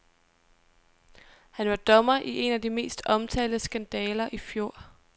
Han var dommer i en af de mest omtalte skandaler i fjor.